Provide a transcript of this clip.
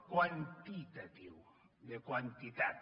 quantitatiu de quantitat